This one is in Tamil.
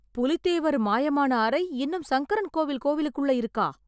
புலித்தேவர் மாயமான அறை இன்னும் சங்கரன்கோவில் கோவிலுக்குள்ள இருக்கா?